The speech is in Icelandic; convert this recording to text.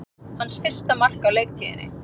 Hans fyrsta mark á leiktíðinni